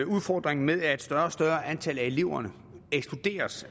udfordringen med at et større og større antal af eleverne ekskluderes